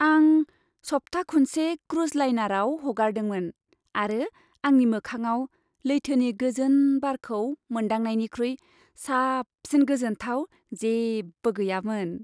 आं सप्था खुनसे क्रुज लाइनाराव हगारदोंमोन, आरो आंनि मोखांआव लैथोनि गोजोन बारखौ मोनदांनायनिख्रुइ साबसिन गोजोनथाव जेबो गैयामोन।